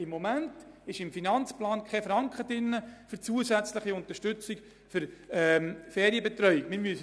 Im Moment ist im Finanzplan kein Franken für die zusätzliche Unterstützung von Ferienbetreuung vorgesehen.